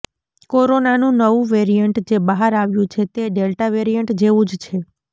કોરોનાનું નવું વેરિઅન્ટ જે બહાર આવ્યું છે તે ડેલ્ટા વેરિએન્ટ જેવું જ છે